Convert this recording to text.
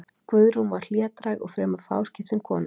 Guðrún var hlédræg og fremur fáskiptin kona.